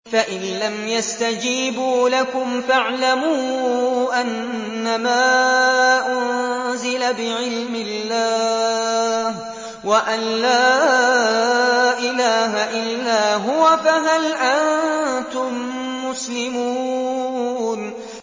فَإِلَّمْ يَسْتَجِيبُوا لَكُمْ فَاعْلَمُوا أَنَّمَا أُنزِلَ بِعِلْمِ اللَّهِ وَأَن لَّا إِلَٰهَ إِلَّا هُوَ ۖ فَهَلْ أَنتُم مُّسْلِمُونَ